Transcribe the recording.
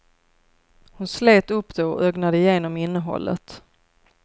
Hon slet upp det och ögnade igenom innehållet.